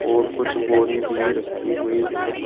और कुछ बोरी भी रखी हुई है।